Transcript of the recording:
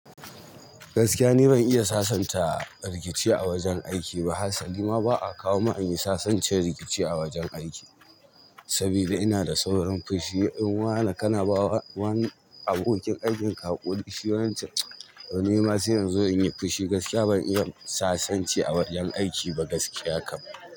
Gaskiya ne ban iya sasanta rikici a wajen aiki ba. Harsali ma ba a kawo mun in yi sasancen rikici a wajen aiki. Sabida ina da saurin fushi in wane kanaba wani abokin aikin ka haƙuri. Shi wan chan, "to ni ma sai inzo in yi fushi gaskiya ban iya sasanci a wajen aiki ba gaskiya kam."